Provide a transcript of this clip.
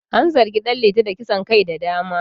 An zargi Dan liti da kisan kai da dama